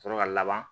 Sɔrɔ ka laban